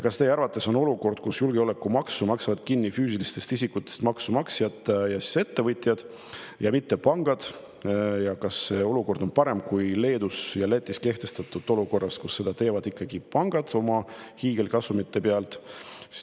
Kas teie arvates on olukord, kus julgeolekumaksu maksavad kinni füüsilistest isikutest maksumaksjad ja ettevõtjad, mitte pangad, parem Leedus ja Lätis kehtestatud olukorrast, kus seda teevad ikkagi pangad oma hiigelkasumite pealt?